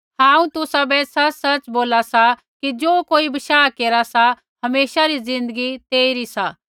हांऊँ तुसाबै सच़सच़ बोला सा कि ज़ो कोई बशाह केरा सा हमेशा रा ज़िन्दगी तेइरा सा